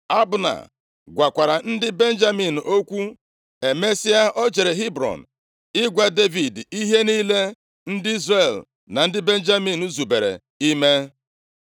Abna gwakwara ndị Benjamin okwu. Emesịa, o jere Hebrọn ịgwa Devid ihe niile ndị Izrel na ndị Benjamin zubere ime.